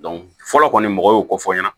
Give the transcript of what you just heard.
fɔlɔ kɔni mɔgɔw y'o ko fɔ n ɲɛna